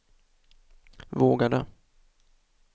vågade